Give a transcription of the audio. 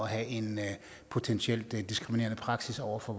have en potentielt diskriminerende praksis over for